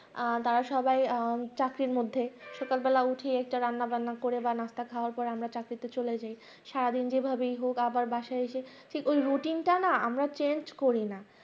তারা সবাই চাকরির মধ্যে সকালবেলা উঠে একটা রান্নাবান্না করে বা নাস্তা খাওয়ার পরে আমরা চাকরিতে চলে যাই সারাদিন যেই ভাবে হোক আবার বাসায় এসে ঠিক ওই routine টা না আমরা change করি না